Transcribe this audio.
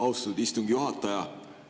Austatud istungi juhataja!